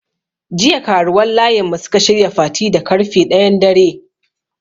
Jiya karuwan layin mu suka shirya fati da karfe ɗayan dare.